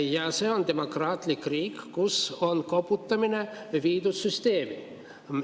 Ja see on demokraatlik riik, kus on koputamine viidud süsteemi.